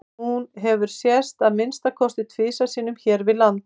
Hún hefur sést að minnsta kosti tvisvar sinnum hér við land.